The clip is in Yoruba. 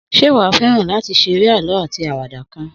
Sé wàá féran látí seré àlõ átí áwàdá kan?